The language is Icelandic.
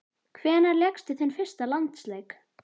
Hvenær lékstu þinn fyrsta landsleik?